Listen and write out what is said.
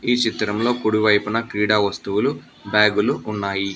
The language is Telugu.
ఈ చిత్రంలో కుడివైపున క్రీడా వస్తువులు బ్యాగు లు ఉన్నాయి.